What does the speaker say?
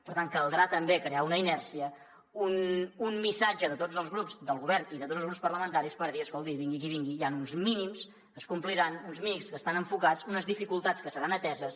per tant caldrà també crear una inèrcia un missatge de tots els grups del govern i de tots els grups parlamentaris per dir escolti vingui qui vingui hi han uns mínims que es compliran uns mínims que estan enfocats unes dificultats que seran ateses